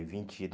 vinte e